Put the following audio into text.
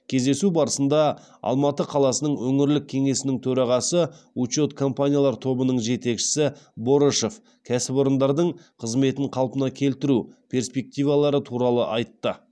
кездесу барысында алматы қаласының өңірлік кеңесінің төрағасы учет компаниялар тобының жетекшісі борышев кәсіпорындардың қызметін қалпына келтіру перспективалары туралы айтты